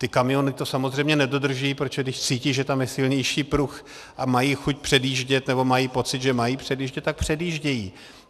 Ty kamiony to samozřejmě nedodržují, protože když cítí, že tam je silnější pruh, a mají chuť předjíždět nebo mají pocit, že mají předjíždět, tak předjíždějí.